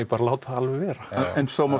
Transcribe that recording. að láta það alveg vera en svo má